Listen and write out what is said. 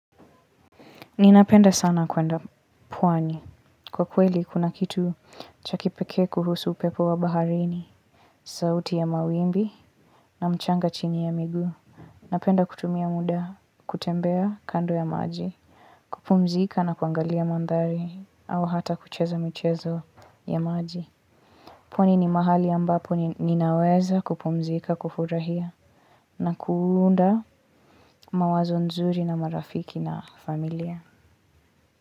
Ninapenda sana kwenda pwani. Kwa kweli kuna kitu chakipekee kuhusu upepo wa baharini. Sauti ya mawimbi na mchanga chini ya migu. Napenda kutumia muda kutembea kando ya maji. Kupumzika na kuangalia mandhari au hata kucheza michezo ya maji. Pwani ni mahali ambapo ninaweza kupumzika, kufurahia na kuunda mawazo nzuri na marafiki na familia.